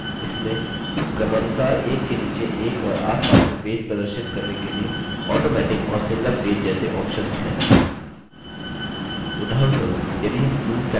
इसमें क्रमानुसार एक के नीचे एक और आस पास में पेज प्रदर्शित करने के लिए automatic और single page जैसे options हैं